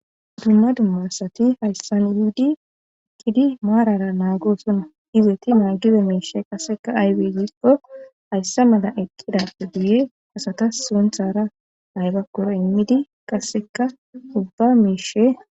Dumma dumma asati hayssan yuudi ikidi maarara naagoosonna izeti naagiza miishe qasseka aybeyyikko hayssa mala eqqidappe buye asata sonthara haybakkoro immidi qasseka hubba miishe